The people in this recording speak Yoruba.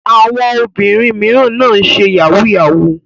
Àwọn obìnrin mìíràn náà ń ṣe yahoo yahoo.